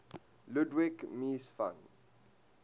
ludwig mies van